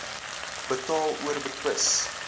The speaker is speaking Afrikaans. betaal or betwis